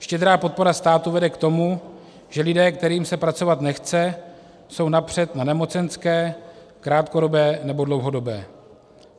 Štědrá podpora státu vede k tomu, že lidé, kterým se pracovat nechce, jsou napřed na nemocenské, krátkodobé nebo dlouhodobé.